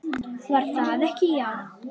Var það ekki, já!